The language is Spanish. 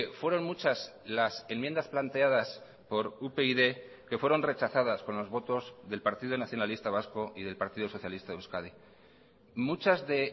fueron muchas las enmiendas planteadas por upyd que fueron rechazadas con los votos del partido nacionalista vasco y del partido socialista de euskadi muchas de